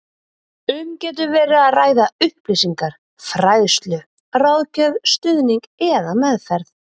Um getur verið að ræða upplýsingar, fræðslu, ráðgjöf, stuðning eða meðferð.